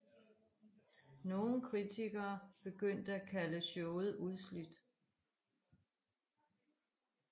Nogle kritikere begyndte at kalde showet udslidt